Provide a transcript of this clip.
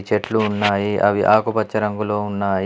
చెట్లు ఉన్నాయి అవి ఆకుపచ్చ రంగులో ఉన్నాయి.